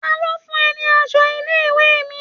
Ta ló fún ẹ ní aṣọ ilé-ìwé mi?